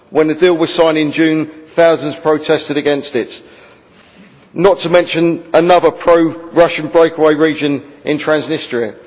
When a deal was signed in June thousands protested against it, not to mention another pro Russian breakaway region in Transnistria.